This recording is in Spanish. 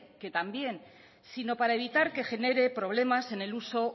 que también sino para evitar que genere problemas en el uso